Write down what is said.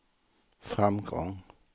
framgång